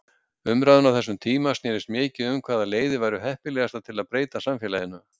Umræðan á þessum tíma snerist mikið um hvaða leiðir væru heppilegastar til að breyta samfélaginu.